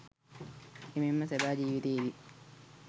එමෙන්ම සැබෑ ජිවිතයේදී